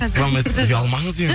сықыра алмайсыз ба ұялмаңыз енді